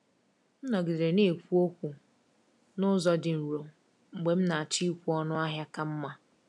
M nọgidere na-ekwu okwu n’ụzọ dị nro mgbe m na-achọ ịkwụ ọnụ ahịa ka mma.